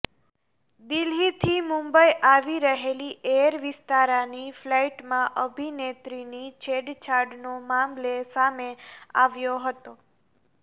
દિલ્હીથી મુંબઈ આવી રહેલી એર વિસ્તારાની ફ્લાઈટમાં અભિનેત્રીની છેડછાડનો મામલે સામે આવ્યો હતો